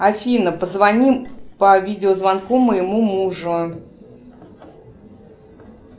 афина позвони по видеозвонку моему мужу